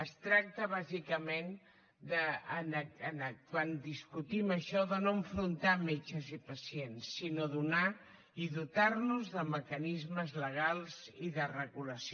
es tracta bàsicament quan discutim això de no enfrontar metges i pacients sinó donar i dotar nos de mecanismes legals i de regulació